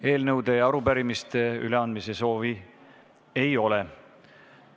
Eelnõude ja arupärimiste üleandmise soovi ei ole.